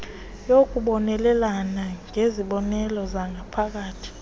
yokubonelela ngezikhokelo zangaphakathi